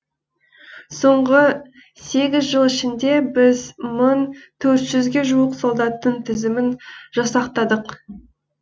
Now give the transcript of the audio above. соңғы сегіз жыл ішінде біз мың төрт жүзге жуық солдаттың тізімін жасақтадық